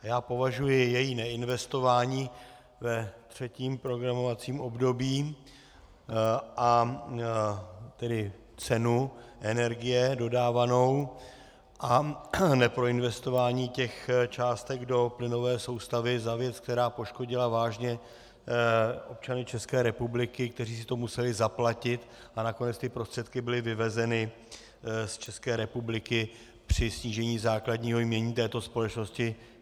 Já považuji její neinvestování ve třetím programovacím období, a tedy cenu energie dodávanou a neproinvestování těch částek do plynové soustavy za věc, která poškodila vážně občany České republiky, kteří si to museli zaplatit, a nakonec ty prostředky byly vyvezeny z České republiky při snížení základního jmění této společnosti.